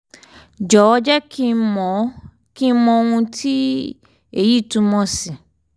jọ̀wọ́ jẹ́ kí n mọ kí n mọ ohun tí èyí túmọ̀ sí